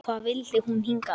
Hvað vildi hún hingað?